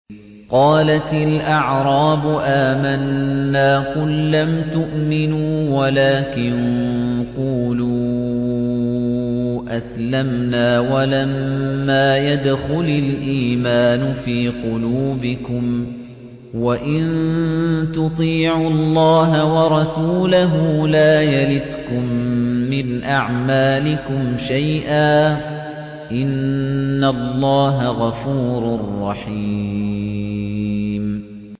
۞ قَالَتِ الْأَعْرَابُ آمَنَّا ۖ قُل لَّمْ تُؤْمِنُوا وَلَٰكِن قُولُوا أَسْلَمْنَا وَلَمَّا يَدْخُلِ الْإِيمَانُ فِي قُلُوبِكُمْ ۖ وَإِن تُطِيعُوا اللَّهَ وَرَسُولَهُ لَا يَلِتْكُم مِّنْ أَعْمَالِكُمْ شَيْئًا ۚ إِنَّ اللَّهَ غَفُورٌ رَّحِيمٌ